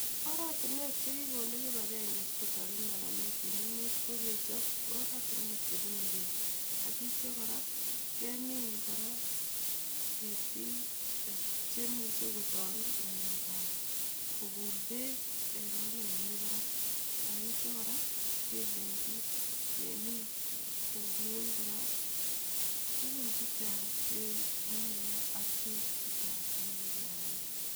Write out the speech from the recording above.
Oratinwek chekikonde kipagenge sikotoret maranet en emet kokechop oratinwek chebunei beek ak itia kora kemin kora ketik chemuche kotoret ngalekab kokul beek en oret nemi barak ak itia kora kelenchi temik komin kora tugun chechang' chenomeke ak beek chechang en maranet